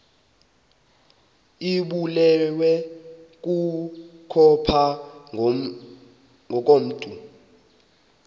ibulewe kukopha ngokomntu